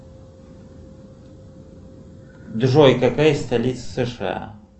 джой какая столица сша